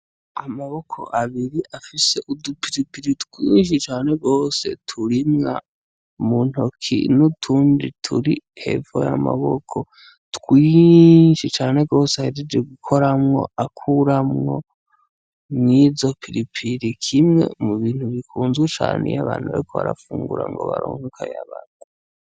Amaboko abiri afise udupiripiri twinshi cane rose turimwa mu ntoki n'utundi turi hevo ye amaboko twinshi cane rose ahejeje gukoramwo akuramwo mw'izopilipiri kimwe mu bintu bikunzwe cane iyo abantu bekorao sunguramgobaronkoka yabantu.